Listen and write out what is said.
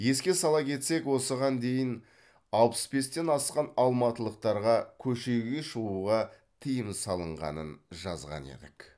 еске сала кетсек осыған дейін алпыс бестен асқан алматылықтарға көшеге шығуға тыйым салынғанын жазған едік